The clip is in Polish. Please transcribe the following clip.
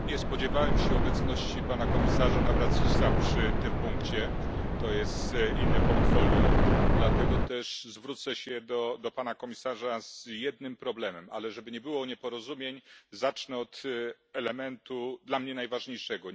Panie Przewodniczący! Nie spodziewałem się obecności pana komisarza Navracsicsa przy tym punkcie. To jest inne portfolio. Dlatego też zwrócę się do pana komisarza z jednym problemem, ale żeby nie było nieporozumień, zacznę od elementu dla mnie najważniejszego.